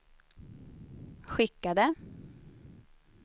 skickade